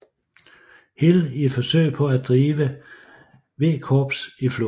Hill i et forsøg på at drive V Korps i floden